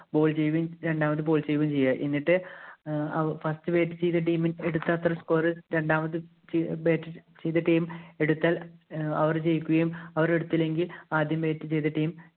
ball ചെയ്യുകയും രണ്ടാമത് ball ചെയ്യുകയും ചെയ്യുക. എന്നിട്ട് first bat ചെയ്ത team എടുത്ത അത്ര ഒരു score രണ്ടാമത് bat ചെയ്ത team എടുത്താല്‍ അവര്‍ ജയിക്കുകയും, അവരെടുത്തില്ലെങ്കില്‍ ആദ്യം bat ചെയ്ത team